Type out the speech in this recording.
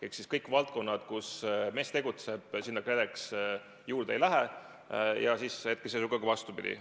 Nendesse valdkondadesse, kus MES tegutseb, KredEx juurde ei lähe ja ka vastupidi.